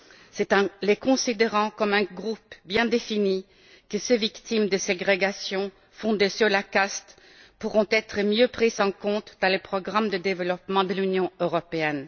C'est en les considérant comme un groupe bien défini que ces victimes de ségrégations fondées sur la caste pourront être mieux prises en compte dans le programme de développement de l'Union européenne.